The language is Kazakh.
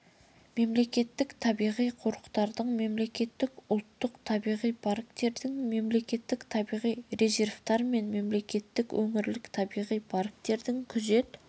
мемлекеттік табиғи қорықтардың мемлекеттік ұлттық табиғи парктердің мемлекеттік табиғи резерваттар мен мемлекеттік өңірлік табиғи парктердің күзет